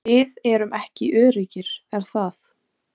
Við erum ekki öruggir er það?